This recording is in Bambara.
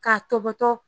K'a tɔbɔtɔ